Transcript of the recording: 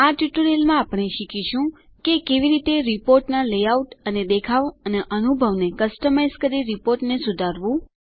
આ ટ્યુટોરીયલમાં આપણે શીખીશું કે કેવી રીતે રીપોર્ટના લેઆઉટ અને દેખાવ અને અનુભવ ને કસ્ટમાઇઝ કરી રીપોર્ટ ને સુધારો